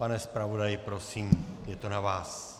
Pane zpravodaji, prosím, je to na vás.